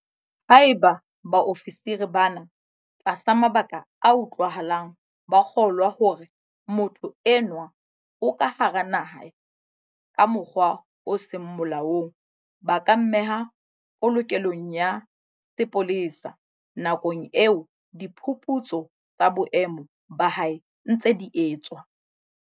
Haeba baofisiri bana, tlasa mabaka a utlwahalang, ba kgolwa hore motho enwa o ka hara naha ka mokgwa o seng molaong, ba ka mmeha polokelong ya sepolesa nakong eo diphuputso tsa boemo ba hae di ntseng di etswa.